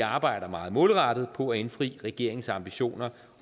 arbejder meget målrettet på at indfri regeringens ambitioner